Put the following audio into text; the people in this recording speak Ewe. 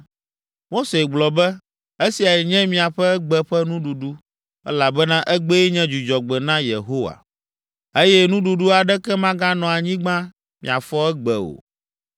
Mose gblɔ be, “Esiae nye miaƒe egbe ƒe nuɖuɖu, elabena egbee nye dzudzɔgbe na Yehowa, eye nuɖuɖu aɖeke maganɔ anyigba miafɔ egbe o.